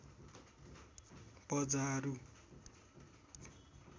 पजारु